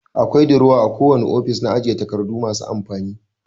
Akwai durowa a kowane ofis na ajiye takardu masu amfani.